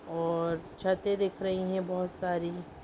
और छतें दिख रही है बहुत सारी।